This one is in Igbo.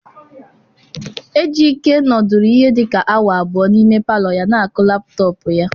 Ejike nọdụrụ ihe dị ka awa abụọ n'ime palọ ya na-akụ laptọọpụ ya.